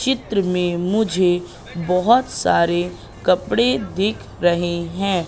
चित्र में मुझे बहोत सारे कपड़े दिख रहे हैं।